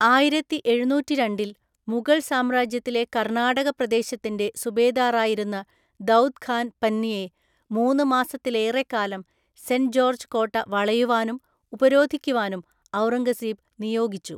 ആയിരത്തിഎഴുനൂറ്റിരണ്ടില്‍, മുഗൾ സാമ്രാജ്യത്തിലെ കർണാടകപ്രദേശത്തിൻ്റെ സുബേദാറായിരുന്ന ദൗദ് ഖാൻ പന്നിയെ, മൂന്ന് മാസത്തിലേറെക്കാലം സെൻറ്റ് ജോർജ്ജ് കോട്ട വളയുവാനും ഉപരോധിക്കുവാനും ഔറംഗസേബ് നിയോഗിച്ചു.